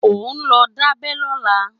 Óò lọ dá abẹ́ lọ́la